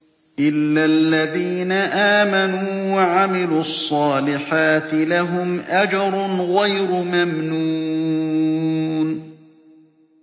إِلَّا الَّذِينَ آمَنُوا وَعَمِلُوا الصَّالِحَاتِ لَهُمْ أَجْرٌ غَيْرُ مَمْنُونٍ